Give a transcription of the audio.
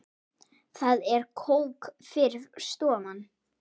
Það er kók fyrir sófann.